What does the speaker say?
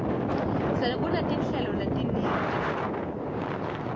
sekunetinhlelo letiningi temculo